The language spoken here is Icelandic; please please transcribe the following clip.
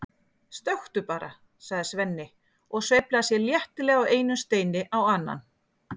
stökktu bara, sagði Svenni og sveiflaði sér léttilega af einum steini á annan.